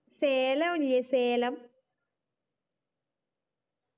സേലോല്ലേ Salem